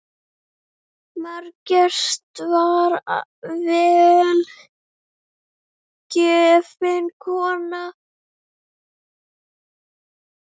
Margrét var vel gefin kona.